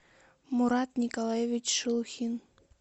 мурат николаевич шелухин